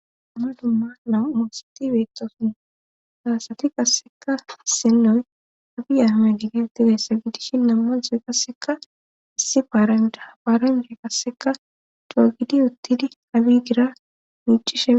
Ama dummaala umuosati betoosun saasati qasseka senoy abi ahame digenti weessa gidishi nammanzoy qasseka issi paaranda afaarande kasseka doa gidi uttidi abi gira miicishe